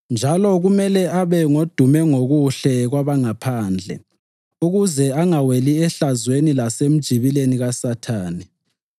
Njalo kumele abe ngodume ngokuhle kwabangaphandle ukuze angaweli ehlazweni lasemjibileni kaSathane.